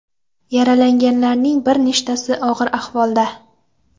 Yaralanganlarning bir nechtasi og‘ir ahvolda.